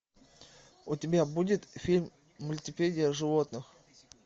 у тебя будет фильм мультипедия животных